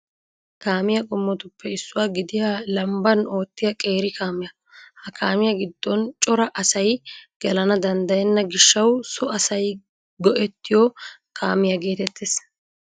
Kaamiya qommotuppe issuwa gidiya lambban oottiya qeeri kaamiya. Ha kaamiya giddon cora asay gelana danddayenna gishshawu so asay go'ettiyo kaamiya geetettes.